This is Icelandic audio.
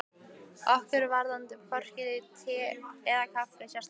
Okkur varðaði hvorki um te eða kaffi sérstaklega.